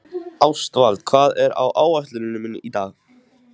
Ástvald, hvað er á áætluninni minni í dag?